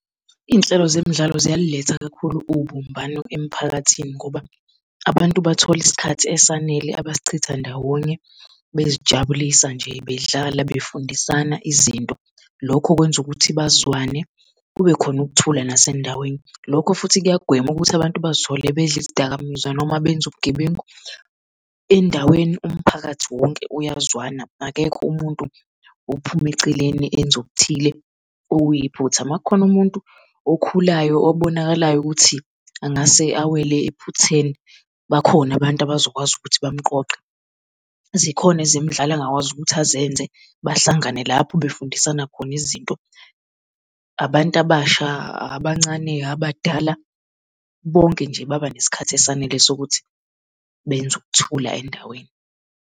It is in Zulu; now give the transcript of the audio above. Iy'nhlelo zemidlalo ziyalilela kakhulu ubumbano emiphakathini ngoba abantu bathole isikhathi esanele abasichitha ndawonye bezijabulisa nje bedlala befundisana izinto. Lokho kwenza ukuthi bazwane kube khona ukuthula nasendaweni. Lokho futhi kuyagwema ukuthi abantu bazithole bedla izidakamizwa noma benza ubugebengu. Endaweni umphakathi wonke uyazwana akekho umuntu ophuma eceleni enze okuthile okuyiphutha, uma kukhona umuntu okhulayo obonakalayo ukuthi angase awele ephutheni. Bakhona abantu abazokwazi ukuthi bamuqoqe. Zikhona ezemidlalo angakwazi ukuthi azenze bahlangane lapho befundisana khona izinto, abantu abasha, abancane, abadala, bonke nje babanesikhathi esanele sokuthi benze ukuthula endaweni.